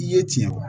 I ye tiɲɛ fɔ